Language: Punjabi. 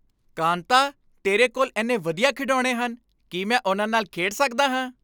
ਕਾਂਤਾ, ਤੇਰੇ ਕੋਲ ਇੰਨੇ ਵਧੀਆ ਖਿਡੌਣੇ ਹਨ। ਕੀ ਮੈਂ ਉਨ੍ਹਾਂ ਨਾਲ ਖੇਡ ਸਕਦਾ ਹਾਂ?